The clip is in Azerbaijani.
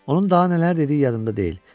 Onun daha nələr dediyi yadımda deyil.